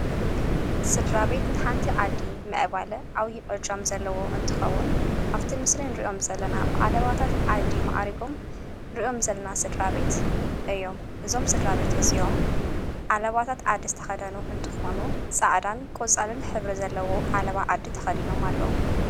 ሥድራ ቤት ንሓንቲ ዓዲ መዕባለ ኣውዪዕጃም ዘለዎ እንትኸቡን ኣብቲ ምስልን ርእዮም ዘለና ብዓለባታት ዓዲ መኣሪጎም ርዮም ዘለና ሥድራቤት እዮም እዞም ሥድራቤት እዚዮም ዓለባታት ዓዲ ዝተኸደኑ እንትኾኑ ፃዕዳን ቈፃልን ሕብሪ ዘለዎ ዓለባ ዓዲ ተኸዲኖም ኣለዉ::